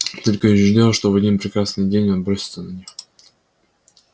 только и ждёшь что в один прекрасный день он бросится на них